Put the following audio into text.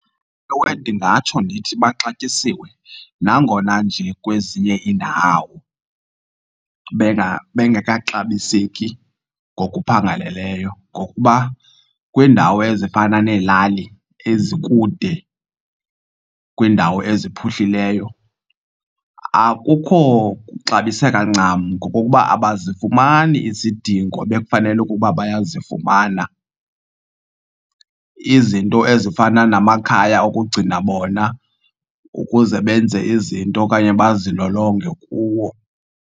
Ewe, ndingatsho ndithi baxatyisiwe nangona nje kwezinye iindawo bengekaxabiseki ngokuphangaleleyo. Ngokuba kwiindawo ezifana neelali ezikude kwiindawo eziphuhlileyo akukho kuxabiseka ncam ngokokuba abazifumani izidingo ebekufanele ukuba bayazifumana, izinto ezifana namakhaya okugcina bona ukuze benze izinto okanye bazilolonge kuwo.